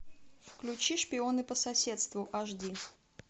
включи шпионы по соседству аш ди